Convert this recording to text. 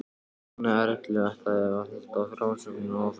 Nonni Erlu ætlaði að halda frásögninni áfram.